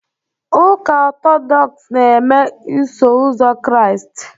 Ụka Ọtọdọks na-eme Iso Ụzọ Kraịst